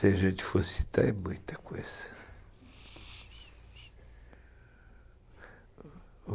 Se a gente for citar, é muita coisa.